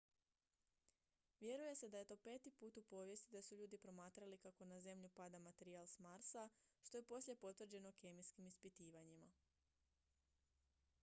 vjeruje se da je to peti put u povijesti da su ljudi promatrali kako na zemlju pada materijal s marsa što je poslije potvrđeno kemijskim ispitivanjima